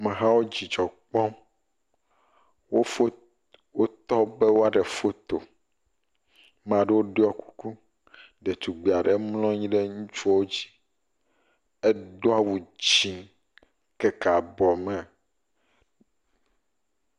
Amehawo dzidzɔ kpɔm, wotɔ be woa ɖe foto, ame aɖewo ɖɔe kuku, ɖetugbui aɖewo mlɔ anyi ɖe ŋutsuwo dzi, edo awu dzɛ, ekeke abɔ me.